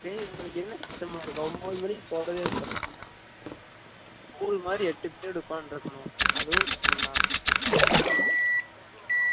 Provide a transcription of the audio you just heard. டெய் எங்கலுக்கு என்ன கஷ்டமா இருக்கா ஒம்பது மனிக்கு போரதே ஒரு கஷ்டம் தான். school மாரி எட்டு period உட்காந்து இருக்கனும் அதுவும் கஷ்டம் தான்